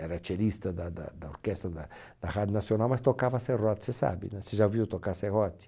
era cellista da da da orquestra da da Rádio Nacional, mas tocava serrote, você sabe né? Você já ouviu tocar serrote?